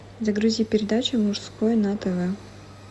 загрузи передачу мужское на тв